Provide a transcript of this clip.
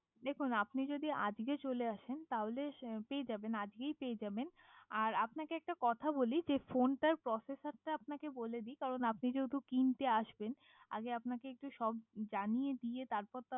দেখুন আপনি যদি আজকে চলে আসেন তাহলে পেয়ে যাবেন আজকেই পেয়ে যাবেন আর আপনা কে একটা কথা বলি যে ফোন টা প্রসেস আছে আপনা কে বলি দি কারণ আপনি যেহেতু কিনতে আসবেন আগে আপনাকে সব জানিয়ে দিয়ে আপনি কিনতে আসবেন